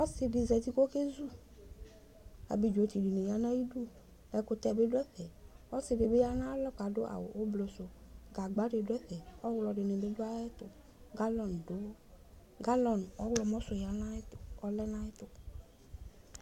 Ɔsidi zati kʋ ekezʋ abidzo dini yanʋ ayʋ idʋ ɛkʋtɛ bi dʋ ɛfɛ ɔsidibi yanʋ ayʋ alɔ kʋ adʋ awʋ ʋblɔsʋ gagba di dʋ ɛfɛ ɔwlɔdinibi dʋ ayʋ ɛtʋ galɔni ɔwlɔmɔsʋ yanʋ ayʋ ɛtʋ